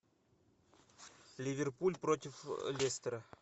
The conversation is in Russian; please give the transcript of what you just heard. ливерпуль против лестера